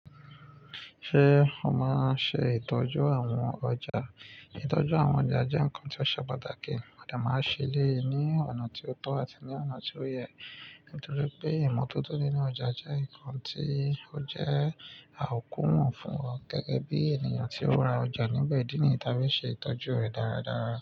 Ṣé ó mọ àṣẹ ìtọ́jú àwọn ọjà? Ìtọ́jú àwọn ọjà jẹ́ ǹkan tí ó ṣe pàtàkì. Mọ́n dè máa ṣí elèyi ní ọ̀nà tí ó tọ́ àti ní ọ̀nà tí ó yẹ, nítorí pé ìmọ́tótó nínú ọjà jẹ́ ǹkan tí ó jẹ́ àkúùfù fún gẹ́gẹ́ bí ènìyàn tí ó ra ọjà níbẹ̀ dínì tábí ṣe ìtọ́jú rẹ̀ dáradára.